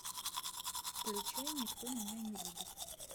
включай никто меня не любит